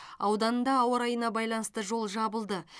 ауданында ауа райына байланысты жол жабылды